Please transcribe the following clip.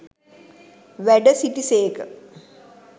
වැඩ සිටි සේක.